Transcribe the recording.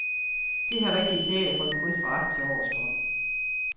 Det har rigtige teaterfolk kun foragt til overs for.